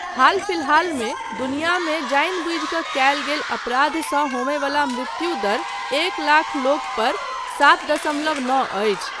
हाल फिलहालमे दुनियामे जानिबुझि कऽ कयल गेल अपराधसँ होमय बला मृत्युदर एक लाख लोकपर सात दशमलव नओ अछि।